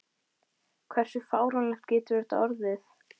Hversu fáránlegt getur þetta orðið?